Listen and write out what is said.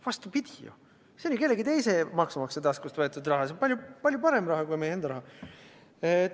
Vastupidi ju, see on ju kellegi teise maksumaksja taskust võetud raha, palju parem kui meie enda raha.